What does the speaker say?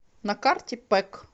на карте пэк